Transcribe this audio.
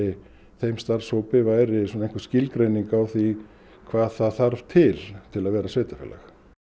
þeim starfshópi væri einhver skilgreining á því hvað þarf til til að vera sveitarfélag